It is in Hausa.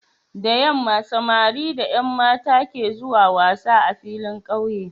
Da yamma samari da Yan mata ke zuwa wasa a filin ƙauye